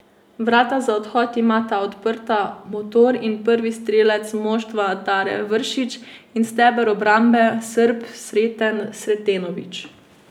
Vrata za odhod imata odprta motor in prvi strelec moštva Dare Vršić in steber obrambe Srb Sreten Sretenović.